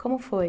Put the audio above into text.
Como foi?